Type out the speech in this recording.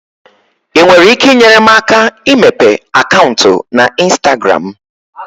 ị nwere ike inyere m aka imepe akaụntụ na ịnstagram?